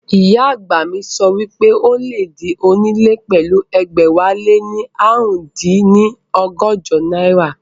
Ìyá àgbà mi sọ wípé o lè di onílé pẹ̀lú ẹgbẹ̀wáléní ààrùndínní ọgọ́jọ náírà